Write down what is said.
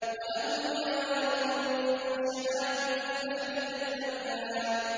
وَلَهُ الْجَوَارِ الْمُنشَآتُ فِي الْبَحْرِ كَالْأَعْلَامِ